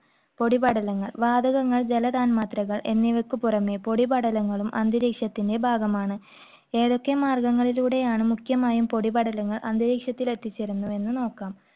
പൊടിപടലങ്ങൾ, വാതകങ്ങൾ, ജലതന്മാത്രകൾ എന്നിവയ്ക്കുപുറമേ പൊടിപടലങ്ങളും അന്തരീക്ഷത്തിന്റെ ഭാഗമാണ്. ഏതൊക്കെ മാർഗങ്ങളിലൂടെയാണ് മുഖ്യമായും പൊടിപടലങ്ങൾ അന്തരീക്ഷത്തിൽ എത്തിച്ചേരുന്നതെന്ന് നോക്കാം.